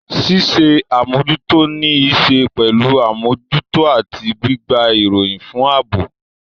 Ṣíṣe àmójútó ní í ṣe pẹ̀lú àmójútó àti gbígba ìròyìn fún ààbò.